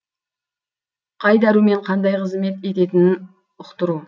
қай дәрумен қандай қызмет ететінін ұқтыру